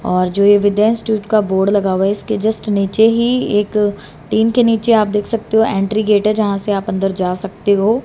और जो ये विद्या इंस्टीट्यूट का बोर्ड लगा हुआ है इसके जस्ट नीचे ही एक टीन के नीचे आप देख सकते हो एंट्री गेट है जहां से आप अंदर जा सकते हो।